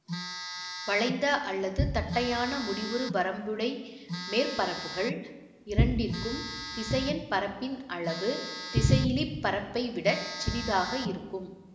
வளைந்த அல்லது தட்டையான முடிவுறு வரம்புடை மேற்பரப்புகள் இரண்டிற்கும் திசையன் பரப்பின் அளவு திசையிலி பரப்பை விட சிறிதாக இருக்கும்